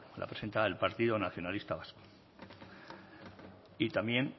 la presenta el partido nacionalista vasco y también